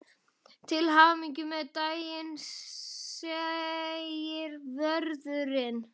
Til hamingju með daginn segir vörðurinn.